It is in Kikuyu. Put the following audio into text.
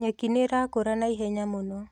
Nyeki nĩyakũra naihenya mũno